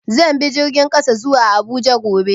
Zan bi jirgin ƙasa zuwa Abuja gobe.